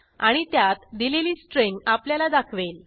आणि त्यात दिलेली स्ट्रिंग आपल्याला दाखवेल